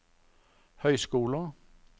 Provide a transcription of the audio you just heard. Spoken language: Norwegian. høyskoler